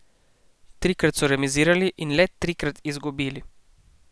Trikrat so remizirali in le trikrat izgubili.